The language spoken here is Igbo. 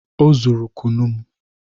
Ọ zụrụ kụnụ m